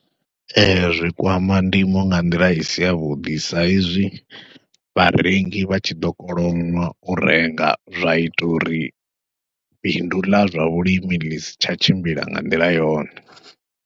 Ee, zwi kwama ndimo nga nḓila i si ya vhuḓi sa izwi vharengi vha tshi ḓo kolonwa u renga, zwa ita uri bindu ḽa zwa vhulimi ḽi si tsha tshimbila nga nḓila yone.